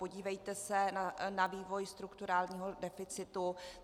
Podívejte se na vývoj strukturálního deficitu.